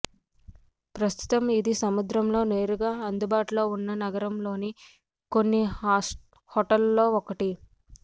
ప్రస్తుతం ఇది సముద్రంలో నేరుగా అందుబాటులో ఉన్న నగరంలోని కొన్ని హోటళ్ళలో ఒకటి